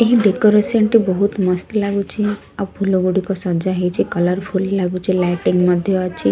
ଏହି ଡେକୋରେସନ ଟେ ବହୁତ ମସ୍ତ ଲାଗୁଚି ଆଉ ଫୁଲ ଗୁଡିକ ସଜା ହେଇଚି କଲରଫୁଲ ଲାଗୁଚି ଲାଇଟିଙ୍ଗ ମଧ୍ୟ ଅଛି।